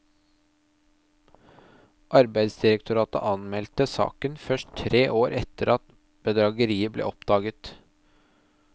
Arbeidsdirektoratet anmeldte saken først tre år etter at bedrageriet ble oppdaget.